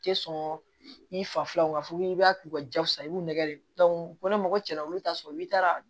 Tɛ sɔn i fa filaw fɔ i b'a k'u ka jakusa i b'u nɛge de dɔn ni mɔgɔ cɛra olu t'a sɔrɔ i taara